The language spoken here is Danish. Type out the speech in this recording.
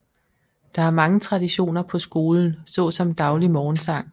Der er mange traditioner på skolen såsom daglig morgensang